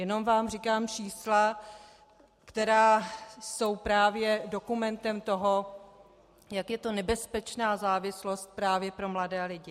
Jenom vám říkám čísla, která jsou právě dokumentem toho, jak je to nebezpečná závislost právě pro mladé lidi.